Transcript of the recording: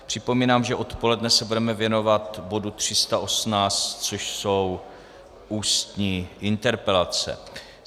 Připomínám, že odpoledne se budeme věnovat bodu 318, což jsou ústní interpelace.